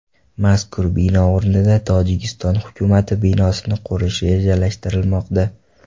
Mazkur bino o‘rnida Tojikiston hukumati binosini qurish rejalashtirilmoqda.